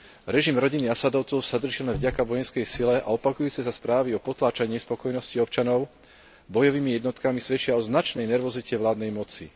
Režim rodiny Assádovcov sa drží len vďaka vojenskej sile a opakujúce sa správy o potláčaní nespokojnosti občanov bojovými jednotkami svedčia o značnej nervozite vládnej moci.